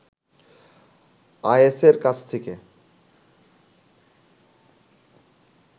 আয়াছের কাছ থেকে